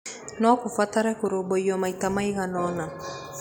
No kũbatare kũrũmbũiyo maita maigana ũna.